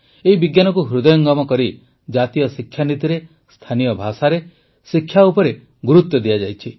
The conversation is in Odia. ଏହି ବିଜ୍ଞାନକୁ ହୃଦୟଙ୍ଗମ କରି ଜାତୀୟ ଶିକ୍ଷାନୀତିରେ ସ୍ଥାନୀୟ ଭାଷାରେ ଶିକ୍ଷା ଉପରେ ଗୁରୁତ୍ୱ ଦିଆଯାଇଛି